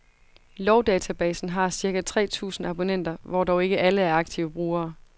Lovdatabasen har cirka tre tusind abonnenter, hvor dog ikke alle er aktive brugere.